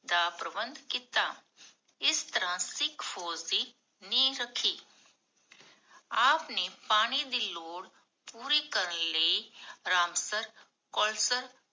ਦਾ ਪ੍ਰਬੰਧ ਕੀਤਾ। ਇਸ ਤਰਹ ਸਿਖ ਫੋਜ ਦੀ ਨੀਹ ਰਖੀ ਆਪ ਨੇ ਪਾਣੀ ਦੀ ਲੋੜ ਪੂਰੀ ਕਰਨ ਲਈ, ਰਾਮਸਰ